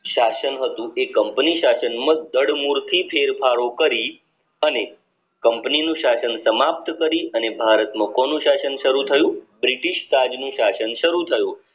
શાસન હતું તે company શાસન મુક્ત જળ મૂળથી ફેરફારો કરી અને company નું શાસન સમાપ્ત કરી અને ભારત માં કોનું શાસન શરુ થયું બ્રિટિશ રાજ નું શાસન શરુ થયું